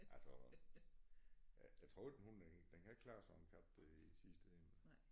Altså ja jeg troede en hund den den kan ikke klare sådan en kat dér i sidste ende